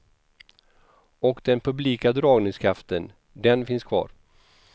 Och den publika dragningskraften, den finnns kvar.